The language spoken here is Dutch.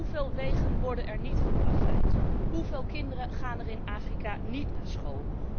Hoeveel wegen worden er niet geplaveid? Hoeveel kinderen gaan er in Afrika niet naar school?